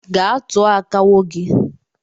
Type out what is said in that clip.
Gaa tụọ akawo gi!